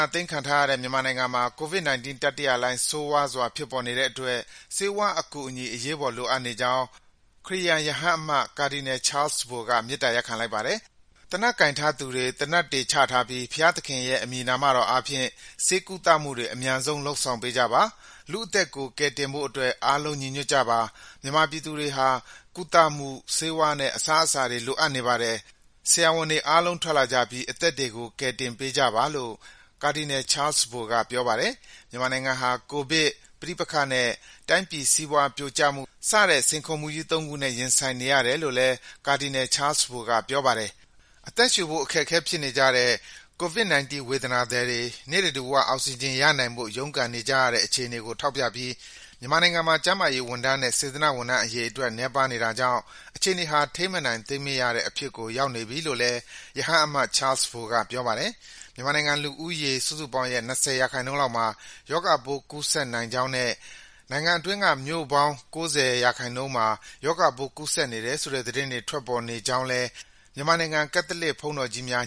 ာသိမ်းခံထားရတဲ့ မြန်မာနိုင်ငံမှာ COVID-19 တတိယလှိုင်း ဆိုးရွားစွာ ဖြစ်ပေါ်နေတဲ့အတွက် ဆေးဝါးအကူအညီ အရေးပေါ်လိုအပ်ကြောင်း ခရစ်ယာန် ရဟန်းအမတ် Cardinal Charles Bo က မေတ္တာရပ်ခံလိုက်ပါတယ်။ သေနတ်ကိုင်ထားသူတွေ သေနတ်တွေချထားပြီး ဘုရားသခင်ရဲ့ အမည်နာမတော်အားဖြင့် ဆေးကုသမှုတွေ အမြန်ဆုံး လုပ်ဆောင်ပေးကြပါ၊ လူ့အသက်တွေကို ကယ်တင်ဖို့အတွက် အားလုံး ညီညွတ်ကြပါ၊ မြန်မာပြည်သူတွေဟာ ကုသမှု၊ ဆေးဝါးနဲ့ အစားအစာတွေ လိုအပ်နေပါတယ်၊ ဆရာဝန်တွေအားလုံး ထွက်လာကြပြီး အသက်တွေကို ကယ်တင်ပေးကြပါလို့ Cardinal Charles Bo က ပြောပါတယ်။ မြန်မာနိုင်ငံဟာ ကိုဗစ်၊ ပဋိပက္ခနဲ့ တိုင်းပြည်စီးပွားပြိုကျမှု စတဲ့ စိန်ခေါ်မှုကြီး ၃ ခုနဲ့ ရင်ဆိုင်နေရတယ်လို့ Cardinal Charles Bo က ပြောပါတယ်။ အသက်ရှူဖို့ အခက်အခဲဖြစ်နေတဲ့ COVID-19 ဝေဒနာသည်တွေ နိစ္စဓူဝ အောက်စီဂျင်ရနိုင်ဖို့ ရုန်းကန်နေကြရတဲ့ အခြေအနေကို ထောက်ပြပြီး မြန်မာနိုင်ငံမှာ ကျန်းမာရေးဝန်ထမ်းနဲ့ စေတနာ့ဝန်ထမ်း အရေအတွက် နည်းပါးနေတာကြောင့် အခြေအနေဟာ ထိန်းမနိုင်သိမ်းမရတဲ့ အဖြစ်ကို ရောက်နေပြီလို့လည်း ရဟန်းအမတ် Charles Bo က ပြောပါတယ်။ မြန်မာနိုင်ငံ လူဦးရေစုစုပေါင်းရဲ့ ၂၀ ရာခိုင်နှုန်းလောက်မှာ ရောဂါပိုး ကူးစက်နိုင်ကြောင်းနဲ့ နိုင်ငံအတွင်းက မြို့ပေါင်း ၉၀ ရာခိုင်နှုန်းမှာ ရောဂါပိုး ကူးစက်နေတယ်ဆိုတဲ့ သတင်းတွေ ထွက်ပေါ်နေကြောင်းလည်း မြန်မာနိုင်ငံ ကက်သလစ်ဆရာတော်ကြီးများ